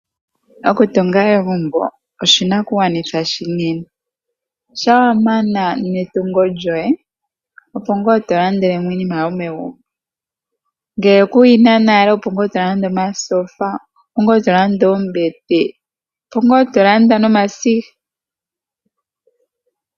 Okutunga egumbo oshinakugwanitha oshinene shampa wamana netungo lyoye opo ngaa tolandelemo iinima yomegumbo ngaashi omasiga, omatyofa niinima oyindji ngele kuyina.